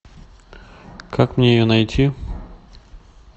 как мне ее найти